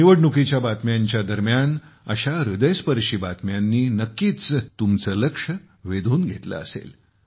निवडणुकीच्या बातम्यांदरम्यान अशा हृदयस्पर्शी बातम्यांनी नक्कीच तुमचे लक्ष वेधून घेतले असले